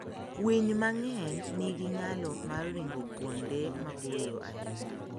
Winy mang'eny nigi nyalo mar ringo kuonde maboyo ahinya.